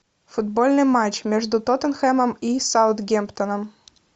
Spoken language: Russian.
футбольный матч между тоттенхэмом и саутгемптоном